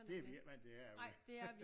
Det er vi ikke vant til herude